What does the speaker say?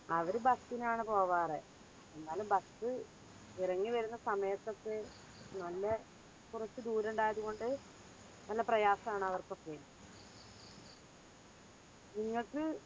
അവര് bus നാണു പോകാറ്. എന്നാലും bus ഇറങ്ങിവരുന്ന സമയത്തൊക്കെ നല്ല കുറച്ച് ദൂരം ഉണ്ടായൊണ്ട് നല്ല പ്രയാസാണ് അവർക്കൊക്കെ നിങ്ങക്ക്